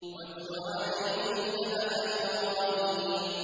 وَاتْلُ عَلَيْهِمْ نَبَأَ إِبْرَاهِيمَ